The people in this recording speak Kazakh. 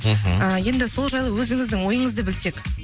мхм енді сол жайлы өзіңіздің ойыңызды білсек